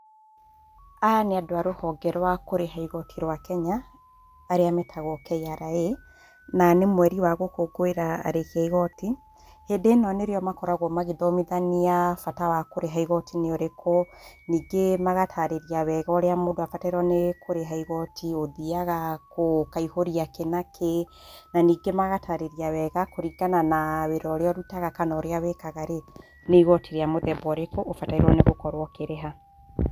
Aya nĩ andu a rũhonge rwa kũrĩha igoti rwa Kenya, arĩa meetagũo KRA, na nĩ mweri wa gũkũngũĩra arĩhi a igoti. Hĩndĩ ĩno nĩ rĩo makoragwo makĩthomithania bata wa kũrĩha igoti nĩ ũrĩkũ. Ningĩ magataarĩria wega ũrĩa mũndũ abatairwo nĩ kũrĩha igoti, ũthiaga kũ, ũkaihũria kĩ na kĩ, na ningĩ magataarĩria wega, kũringana na wĩra ũrĩa ũrutaga kana ũrĩa wĩkaga rĩ, nĩ igoti rĩa mũthemba ũrĩkũ, ũbatairwo nĩ gũkorwo ũkĩrĩha.